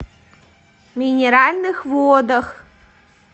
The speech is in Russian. минеральных водах